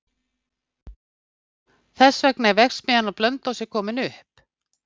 Þess vegna er verksmiðjan á Blönduósi komin upp.